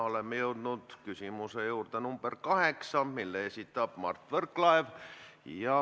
Oleme jõudnud küsimuse nr 8 juurde, mille esitab Mark Võrklaev.